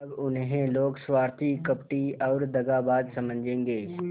अब उन्हें लोग स्वार्थी कपटी और दगाबाज समझेंगे